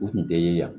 U tun tɛ ye yan